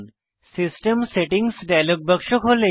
system settings dialog বাক্স খোলে